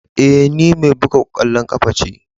Eh, ni mai bugan kwallon kafa ce.